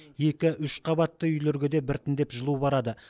екі үш қабатты үйлерге де біртіндеп жылу барады